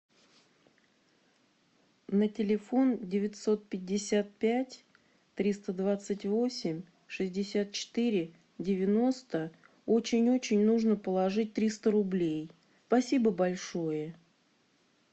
на телефон девятьсот пятьдесят пять триста двадцать восемь шестьдесят четыре девяносто очень очень нужно положить триста рублей спасибо большое